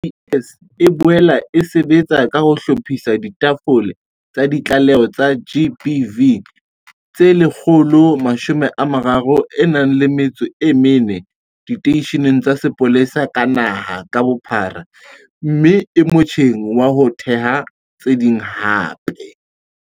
SAPS e boela e sebetsa ka ho hlophisa ditafole tsa ditlaleho tsa GBV tse 134 diteisheneng tsa sepolesa naha ka bophara mme e motjheng wa ho theha tse ding hape.